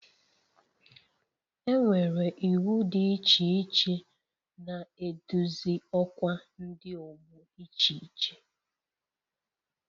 Enwere iwu dị iche iche na-eduzi ọkwa Ndi ọgbọ iche iche